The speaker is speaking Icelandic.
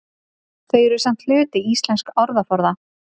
Þau eru samt hluti íslensks orðaforða.